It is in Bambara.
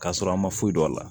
K'a sɔrɔ an ma foyi dɔn a la